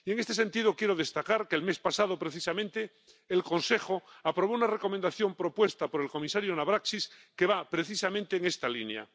Y, en este sentido, quiero destacar que el mes pasado precisamente el Consejo aprobó una recomendación propuesta por el comisario Navracsics que va precisamente en esta línea.